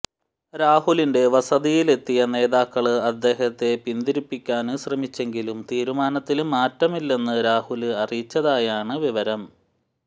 രാഹുലിന്റെ വസതിയിലെത്തിയ നേതാക്കള് അദ്ദേഹത്തെ പിന്തിരിപ്പിക്കാന് ശ്രമിച്ചെങ്കിലും തീരുമാനത്തില് മാറ്റമില്ലെന്ന് രാഹുല് അറിയിച്ചതായാണ് വിവരം